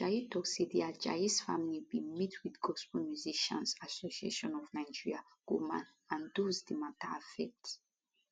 pastor ajayi tok say di ajayis family bin meet wit gospel musicians association of nigeria goman and dose di mata affect